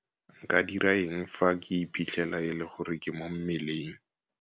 Nka dira eng fa ke iphitlhela e le gore ke mo mmeleng?